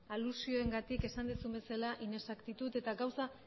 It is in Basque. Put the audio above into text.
alusioengatik esan duzun bezala inexactitud eta gauza